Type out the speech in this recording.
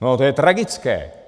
No, to je tragické.